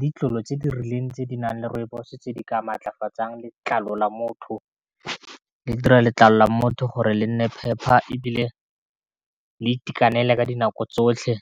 ditlolo tse di rileng tse di nang le rooibos-o tse di ka maatlafatsa letlalo la motho, le dira letlalo la motho gore le nne phepa e bile le itekanele ka dinako tsotlhe.